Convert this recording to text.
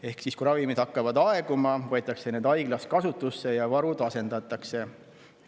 Ehk siis, kui ravimid hakkavad aeguma, võetakse need haiglas kasutusse ja varud asendatakse.